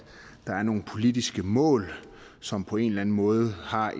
der er nogle politiske mål som på en eller anden måde har